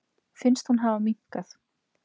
Finnst hún hafa minnkað.